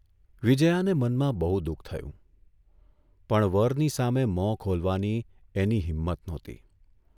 વિજયાને મનમાં બહુ દુઃખ થયું, પણ વરની સામે મોં ખોલવાની એની હિમ્મત નહોતી.